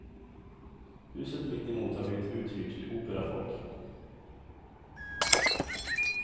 Huset mittemot har blivit uthyrt till operafolk.